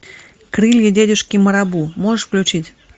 крылья дядюшки марабу можешь включить